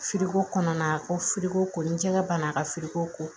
kɔnɔna na ko filiko ko ni jɛgɛ banna a ka ko